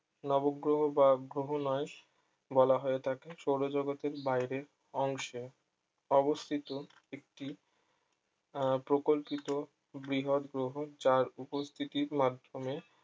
নব গ্রহ বা গ্রহ নয় বলা হয়ে থাকে সৌরজগতের বাইরের অংশে অবস্থিত একটি আহ প্রকল্পিত বৃহৎ গ্রহ যার উপস্থিতির মাধ্যমে